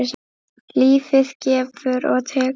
Lífið gefur og tekur.